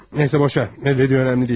Nə isə boş ver, nə dediyi önəmli deyil.